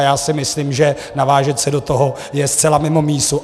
A já si myslím, že navážet se do toho je zcela mimo mísu.